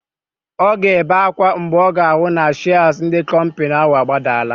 Ọ ga-ebe ákwá mgbe ọ ga-ahụ na shịas ndị kọmpịnị ahụ agbadala.